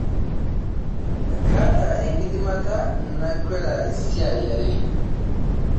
Kaata enkidimata nakweta isaai are